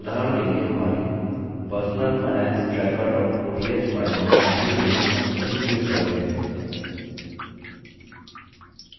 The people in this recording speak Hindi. उदाहरण के लिए हमारी personal finance tracker ods file में पहली row में कहीं click करते हैं